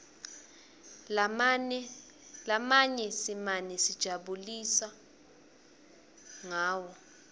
lamanye simane sitijabulusa ngawo